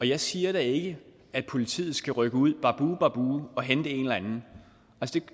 jeg siger da ikke at politiet skal rykke ud babu babu og hente en eller anden